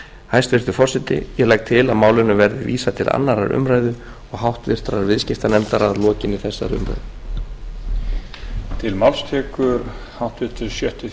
hæstvirtur forseti ég legg til að málinu verði vísað til annarrar umræðu og háttvirtur viðskiptanefndar að lokinni þessari umræðu